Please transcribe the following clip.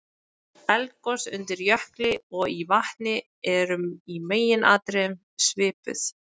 Eldgos undir jökli og í vatni eru í meginatriðum svipuð.